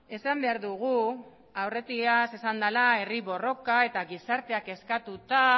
esan behar dugu aurretiaz esan dela herri borroka eta gizarteak eskatuta